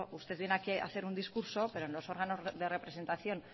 usted viene aquí hacer un discurso pero los órganos de representación